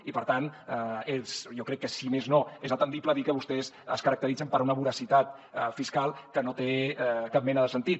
i per tant jo crec que si més no és atendible dir que vostès es caracteritzen per una voracitat fiscal que no té cap mena de sentit